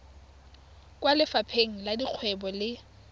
kwa lefapheng la dikgwebo le